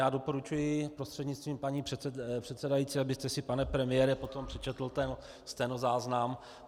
Já doporučuji prostřednictvím paní předsedající, abyste si, pane premiére, potom přečetl ten stenozáznam.